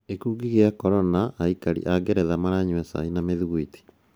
Gĩkũngi kĩa Corona:Aikari a Ngeretha maranyua cai na mìthikwiti.